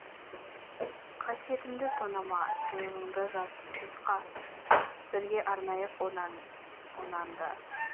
қасиетімді тонама сойылыңды жат жұртқа бірге арнайық онан да